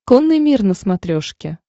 конный мир на смотрешке